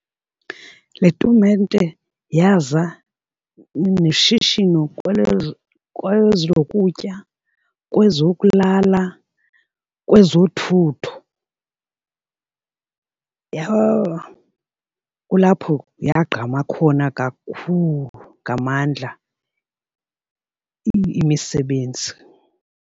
Le tumente yaza neshishino kwezo kwezokutya, kwezokulala, kwezothutho , kulapho yagquma khona kakhulu ngamandla imisebenzi.